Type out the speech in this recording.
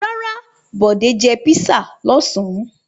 Rárá, Bọ̀dé jẹ písà lọ́sàn-án.